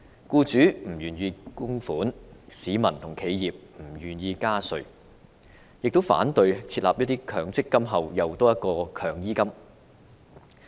僱主不願意供款，市民和企業亦不願意加稅，同時反對在強制性公積金之後再設"強醫金"。